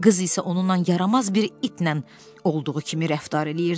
Qız isə onunla yaramaz bir itlə olduğu kimi rəftar eləyirdi.